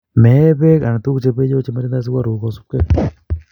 Meee peek anan tuguk chepeiyo chematindoi sukaruk kosupkei